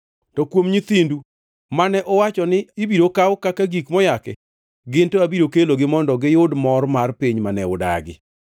To kuom nyithindu mane uwacho ni ibiro kaw kaka gik moyaki, gin to abiro kelogi mondo giyud mor mar piny mane udagi.